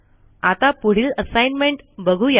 आता पुढील असाईनमेंट बघू या